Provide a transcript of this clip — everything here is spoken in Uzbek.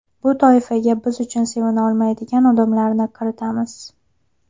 Bu toifaga biz uchun sevina olmaydigan odamlarni kiritamiz.